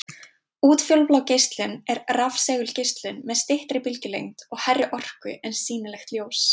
Útfjólublá geislun er rafsegulgeislun með styttri bylgjulengd og hærri orku en sýnilegt ljós.